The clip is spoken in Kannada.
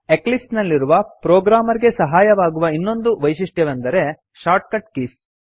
ಎಕ್ಲಿಪ್ಸ್ ನಲ್ಲಿರುವ ಪ್ರೊಗ್ರಾಮರ್ ಗೆ ಸಹಾಯವಾಗುವ ಇನ್ನೊಂದು ವೈಶಿಷ್ಟ್ಯವೆಂದರೆ shortcut ಕೀಸ್